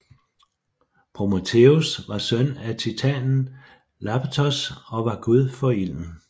Prometheus var søn af titanen Iapetos og var gud for ilden